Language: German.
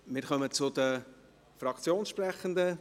Wir kommen zu den Fraktionssprechenden.